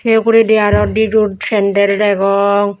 seh poree di aaro di jur sandal degong.